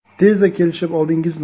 Tezda kelishib oldingizmi?